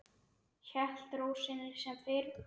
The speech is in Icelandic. Hélt ró sinni sem fyrr.